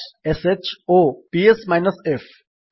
bash ଶ୍ ଓ ps F